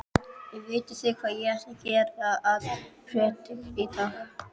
Vitið þið hvað ég ætla að prédika í dag?